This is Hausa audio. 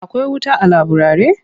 Akwai wuta a laburare?